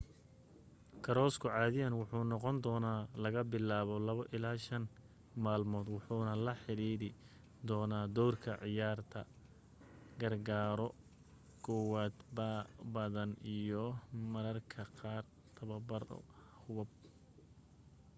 koorasku caadiyan wuxuu noqondoonaa laga bilaabo 2-5 maalmood wuxuna la xidhiidhi doonaa doorka ciyaarta gargaaro kowaad badan iyo marmarka qaar tababar hubab